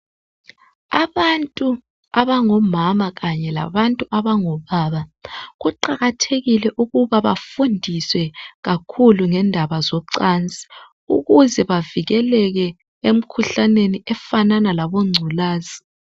abantu abangomama kanye labantu abango baba kuqakathekile ukuba bafundiswe kakhulu ngendaba zocansi ukuze bavikeleke emkhuhlaneni efanana labo nculaza